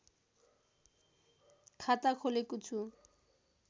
खाता खोलेको छु